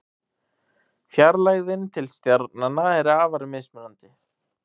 Fjarlægðin til stjarnanna er afar mismunandi.